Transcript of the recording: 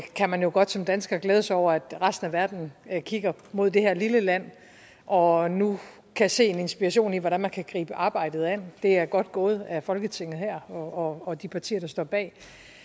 kan jo godt som dansker glæde sig over at resten af verden kigger mod det her lille land og nu kan se en inspiration til hvordan man kan gribe arbejdet an det er godt gået af folketinget her og og de partier der står bag